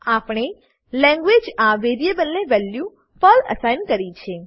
આપણે language language આ વેરીએબલને વેલ્યુ પર્લ એસાઈન કરી છે